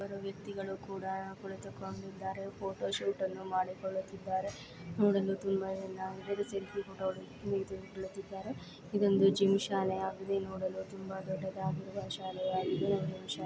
ಕೆಲವು ವ್ಯಕ್ತಿಗಳು ಕೂಡ ಕುಳಿತಿದ್ದಾರೆ ಫೋಟೋಶೂಟ್ ಮಾಡುತ್ತಿದ್ದಾರೆ ನೋಡಲು ತುಂಬಾ ಚೆನ್ನಾಗಿದೆ ಸೆಲ್ಫಿ ಕೂಡ ಇದೊಂದು ಜಿಮ್ ಶಾಲೆ ಆಗಿದೆ ನೋಡಲು ತುಂಬಾ ದೊಡ್ಡದಾಗಿ ಶಾಲೆಯಾಗಿದೆ.